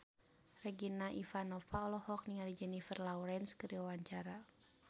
Regina Ivanova olohok ningali Jennifer Lawrence keur diwawancara